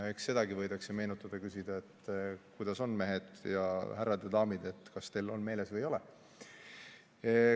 Eks sedagi võidakse meenutada, küsida, et kuidas on, mehed ja härrad ja daamid, kas teil on meeles või ei ole.